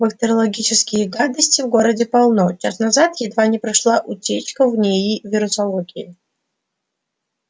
бактериологической гадости в городе полно час назад едва не прошла утечка в нии вирусологии